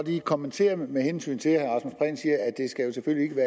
lige kommentere med hensyn til at det